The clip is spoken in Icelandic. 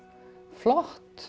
flott